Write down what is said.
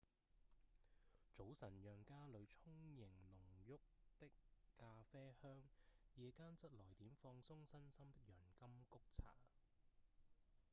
早晨讓家裡充盈濃郁的咖啡香夜間則來點放鬆身心的洋甘菊茶